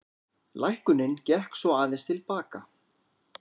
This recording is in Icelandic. Lækkunin gekk svo aðeins til baka